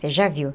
Você já viu?